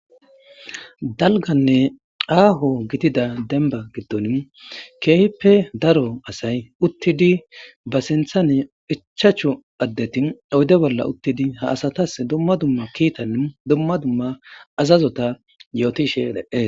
Dalganne aaho gidida demba giddon keehippe daro asay uttidi ba sinthane ichachu addeti oyde bolla uttidi ha asatas dumma dumma kiitan dumma dumma azazota yootishe dhe7ee